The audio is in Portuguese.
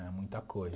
É muita coisa.